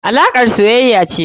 alakar soyaya ce.